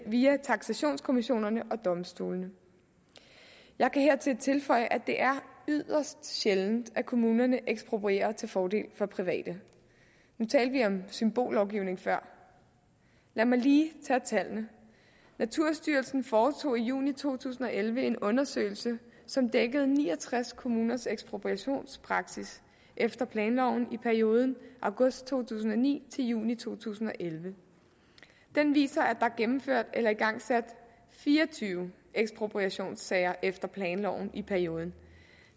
via taksationskommissionerne og domstolene jeg kan hertil tilføje at det er yderst sjældent at kommunerne eksproprierer til fordel for private nu talte vi før om symbollovgivning lad mig lige tage tallene naturstyrelsen foretog i juni to tusind og elleve en undersøgelse som dækkede ni og tres kommuners ekspropriationspraksis efter planloven i perioden august to tusind og ni til juni to tusind og elleve den viser at er gennemført eller igangsat fire og tyve ekspropriationssager efter planloven i perioden